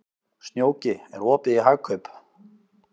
Snjóki, er opið í Hagkaup?